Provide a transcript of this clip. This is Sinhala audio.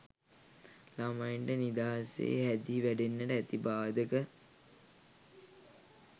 ළමයින්ට නිදහසේ හැදී වැඩෙන්නට ඇති බාධක